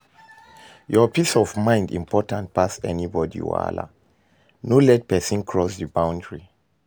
Your peace of mind important pass anybody wahala, no let person cross di boundry